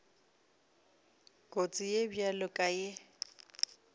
kotsi ye bjalo ka ye